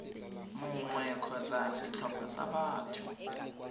mongwe kgotsa setlhopha sa batho